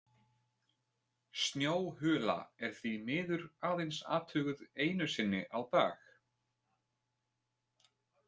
Snjóhula er því miður aðeins athuguð einu sinni á dag.